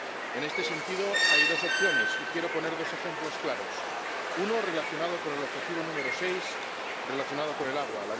En este sentido, hay dos opciones, y quiero poner dos ejemplos claros. Uno, relacionado con el objetivo número 6, sobre el agua.